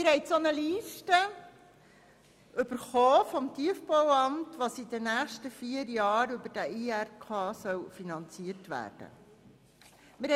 Sie haben vom Tiefbauamt eine Liste erhalten, welche aufzeigt, was in den nächsten vier Jahren über den Investitionsrahmenkredit finanziert werden soll.